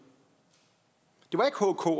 det